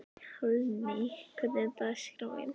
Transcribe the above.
Hallný, hvernig er dagskráin?